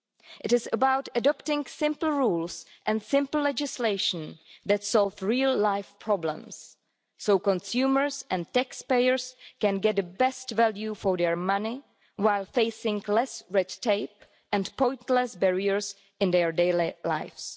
It is about adopting simple rules and simple legislation that solve real life problems so consumers and taxpayers can get the best value for their money while facing less red tape and pointless barriers in their daily lives.